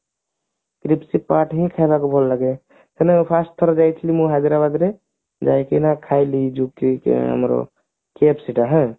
crispy part ହିଁ ଖାଇବାକୁ ଭଲ ଲାଗେ ହେଲେ first ଥର ଯାଇଥିଲି ମୁଁ ହାଇଦ୍ରାବାଦରେ ଯାଇକିନା ଖାଇଲି ଯୋଉଠି କି ଆମର KFC ଟା ହାଁ